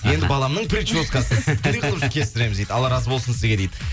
енді баламның прическасы алла разы болсын сізге дейді